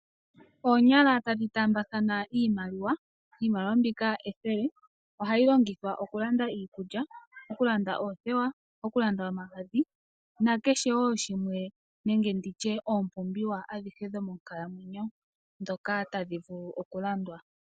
Oonyala tadhi taambathana iimaliwa. Iimaliwa mbika ethele. Ohayi longithwa okulanda iikulya, okulanda oothewa, okulanda omagadhi nakehe wo shimwe nenge ndi tye oompumbwe adhihe dhomonkalamwenyo ndhoka tadhi vulu okulandwa.